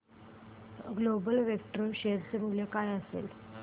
global Vectra share चे मूल्य काय असेल